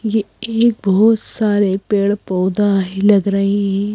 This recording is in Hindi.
ये एक बहुत सारे पेड़ पौधा ही लग रहे हैं।